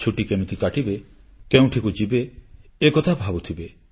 ଛୁଟି କେମିତି କାଟିବେ କେଉଁଠିକୁ ଯିବେ ଏକଥା ଭାବୁଥିବେ